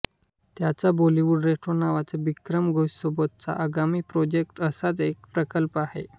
त्याचा Bollywood retro नावाचा बिक्रम घोषसोबतचा आगामी प्रोजेक्ट असाच एक प्रकल्प आहे